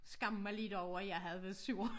Skamme mig lidt over at jeg havde været sur